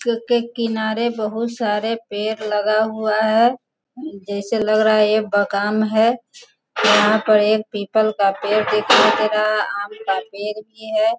क क किनारे बहुत सारे पेड़ लगा हुआ हैं जैसे लग रहा है यह बगाम है यहाँ पर एक पीपल का पेड़ दिखाई दे रहा आम पेड़ भी है।